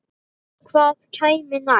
Hvað kæmi næst?